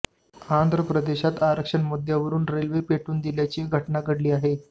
आंध्र प्रदेशात आरक्षण मुद्यावरून रेल्वे पेटवून दिल्याची घटना घडली आहे